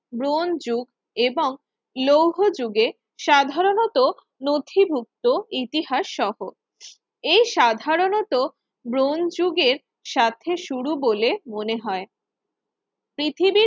bronze যুগ এবং লৌহ যুগের সাধারণত নথিভুক্ত ইতিহাস সহ এর সাধারণত ব্রোঞ্চ যুগের স্বার্থে শুরু বলে মনে হয় পৃথিবীর